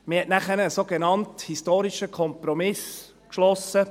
Man hat nachher einen sogenannt historischen Kompromiss geschlossen.